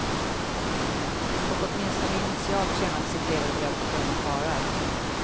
Och åtminstone initialt tjänat sitt levebröd på dumma karlar.